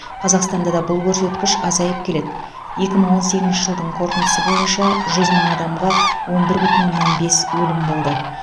қазақстанда да бұл көрсеткіш азайып келеді екі мың он сегізінші жылдың қорытындысы бойынша жүз мың адамға он бір бүтін оннан бес өлім болды